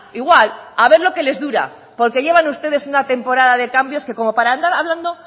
igual a ver lo que les dura porque llevan ustedes una temporada de cambios que como para andar hablando